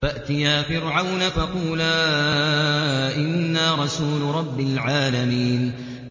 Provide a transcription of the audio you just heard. فَأْتِيَا فِرْعَوْنَ فَقُولَا إِنَّا رَسُولُ رَبِّ الْعَالَمِينَ